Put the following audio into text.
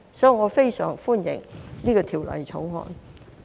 所以，我非常歡迎《條例草案》。